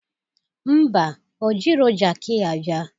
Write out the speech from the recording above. Ḿbà, o jiro jaki ya bịa